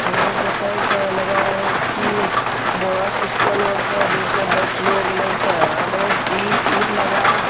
यह देखो लग रहा है की बहुत स्टाल होय है जेसा बेठे है आगे सती सब दिख रहा है।